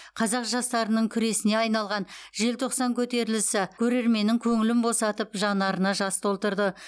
қазақ жастарының күресіне айналған желтоқсан көтерілісі көрерменнің көңілін босатып жанарына жас толтырды